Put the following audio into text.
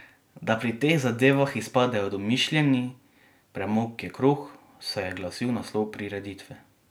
Da, pri teh zadevah izpadejo domišljeni: "Premog je kruh," se je glasil naslov prireditve.